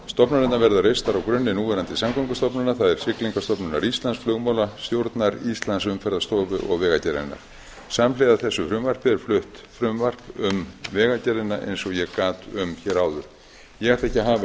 stofnanirnar verða reistar á grunni núverandi samgöngustofnunar það er siglingastofnunar flugmálastjórnar íslands umferðarstofu og vegagerðarinnar samhliða þessu frumvarpi er flutt frumvarp um vegagerðina eins og ég gat um hér áður ég ætla ekki að hafa